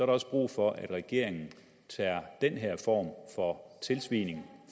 også brug for at regeringen tager den her form for tilsvining